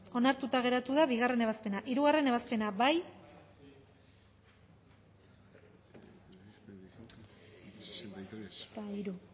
onartuta gelditu da bigarrena ebazpena hirugarrena ebazpena bozkatu